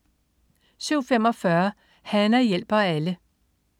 07.45 Hana hjælper alle